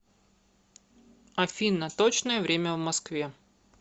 афина точное время в москве